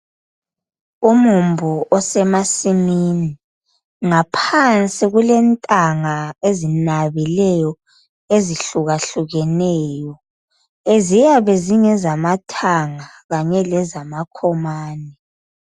Umumbu osemasimini ngaphansi kulentanga ezinabileyo ezihlukahlukeneyo ziyabe zingezama thanga kanye leza makhomane.